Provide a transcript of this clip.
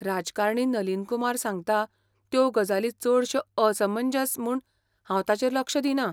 राजकारणी नलीन कुमार सांगता त्यो गजाली चडश्यो असमंजस म्हूण हांव तांचेर लक्ष दिना.